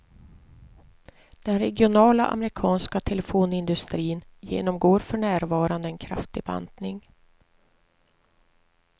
Den regionala amerikanska telefonindustrin genomgår för närvarande en kraftig bantning.